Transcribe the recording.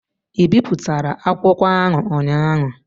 Ị bipụtara akwụkwọ ahụ ụnyaahụ?